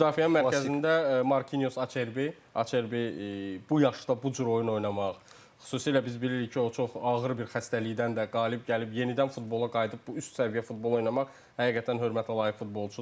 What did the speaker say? Müdafiənin mərkəzində Marquinhos Acerbi, Acerbi bu yaşda bu cür oyun oynamaq, xüsusilə biz bilirik ki, o çox ağır bir xəstəlikdən də qalib gəlib yenidən futbola qayıdıb bu üst səviyyə futbol oynamaq həqiqətən hörmətə layiq futbolçudur.